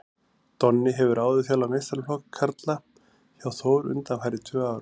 Donni hefur áður þjálfað meistaraflokk karla hjá Þór undanfarin tvö ár.